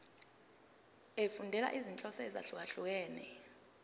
efundela izinhloso ezahlukehlukene